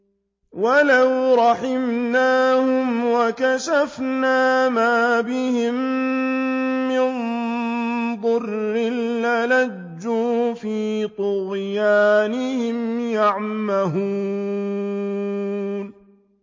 ۞ وَلَوْ رَحِمْنَاهُمْ وَكَشَفْنَا مَا بِهِم مِّن ضُرٍّ لَّلَجُّوا فِي طُغْيَانِهِمْ يَعْمَهُونَ